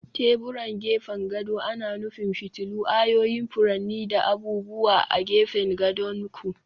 Teburan gefen gado ana nufin fitilu, ayoyin furanni, da abubuwa a gefen gadon ku.